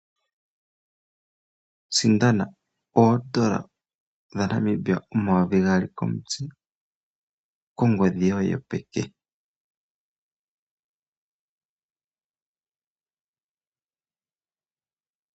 Sindana oodola dhaNamibia omayovi gaali komutse kongodhi yoye yopeke.